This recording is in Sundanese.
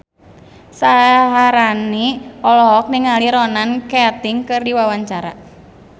Syaharani olohok ningali Ronan Keating keur diwawancara